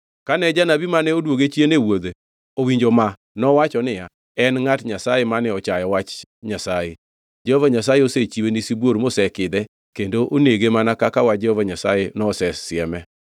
Kane janabi mane odwoge chien e wuodhe owinjo ma nowacho niya, “En ngʼat Nyasaye mane ochayo wach Nyasaye. Jehova Nyasaye osechiwe ni sibuor mosekidhe kendo onege mana kaka wach Jehova Nyasaye nosesieme.”